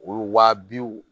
O ye wa biw